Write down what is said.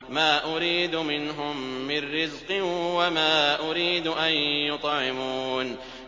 مَا أُرِيدُ مِنْهُم مِّن رِّزْقٍ وَمَا أُرِيدُ أَن يُطْعِمُونِ